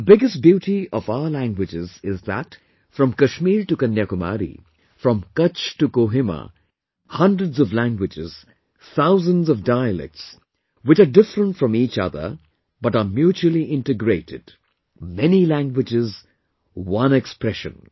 The biggest beauty of our languages is that from Kashmir to Kanyakumari, from Kutch to Kohima, hundreds of languages, thousands of dialects which are different from each other but are mutually integrated...many languages one expression